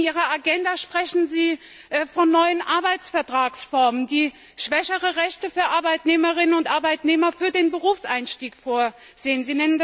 In Ihrer Agenda sprechen Sie von neuen Arbeitsvertragsformen, die schwächere Rechte für Arbeitnehmerinnen und Arbeitnehmer in Bezug auf den Berufseinstieg vorsehen.